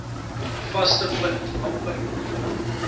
vaste punt amper